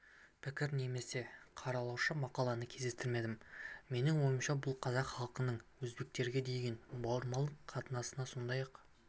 пікір немесе қаралаушы мақаланы кездестірмедім менің ойымша бұл қазақ халқының өзбектерге деген бауырмалдық қатынасына сондай-ақ